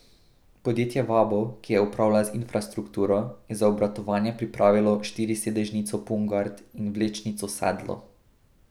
Podjetje Vabo, ki je upravlja z infrastrukturo, je za obratovanje pripravilo štirisedežnico Pungart in vlečnico Sedlo.